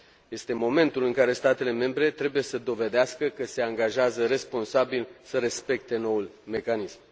Este momentul în care statele membre trebuie să dovedească că se angajează responsabil să respecte noul mecanism.